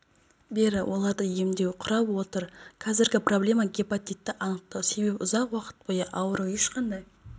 бері оларды емдеу құрап отыр қазіргі проблема гепатитті анықтау себебі ұзақ уақыт бойы ауру ешқандай